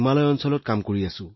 আমি এই উচ্চতাত কাম কৰি আছো